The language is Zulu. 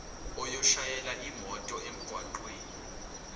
oyoshayela imoto emgwaqeni